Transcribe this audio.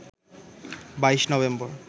২২ November